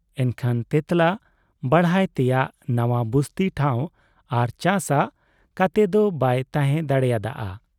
ᱮᱱᱠᱷᱟᱱ ᱛᱮᱸᱛᱞᱟ ᱵᱟᱲᱦᱟᱭ ᱛᱮᱭᱟᱜ ᱱᱟᱣᱟ ᱵᱩᱥᱛᱤ ᱴᱷᱟᱶ ᱟᱨ ᱪᱟᱥᱻᱟᱜ ᱠᱟᱛᱮ ᱫᱚ ᱵᱟᱭ ᱛᱟᱦᱮᱸ ᱫᱟᱲᱮᱭᱟᱫ ᱟ᱾